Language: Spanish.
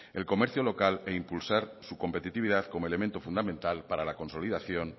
el comercio local e impulsar su competitividad como elemento fundamental para la consolidación